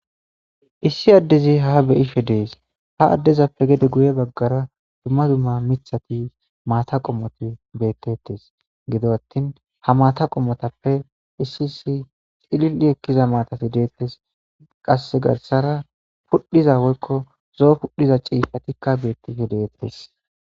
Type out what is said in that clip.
issi addezi ha beyishe dees ha addezappe gede guye baggara dumma dumma mithati maata qommoti bettettes gido attin ha maata qommotappe issi issi xilil7i ekkiza maatati deettes qasse garsara pudhiza woykko zoo pudhiza ciifhatikka beettife deettes